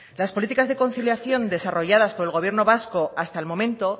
las políticas de conciliación desarrolladas por el gobierno vasco hasta el momento